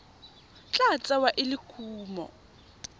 tla tsewa e le kumo